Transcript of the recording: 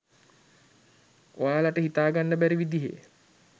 ඔයාලට හිතාගන්න බැරි විදිහේ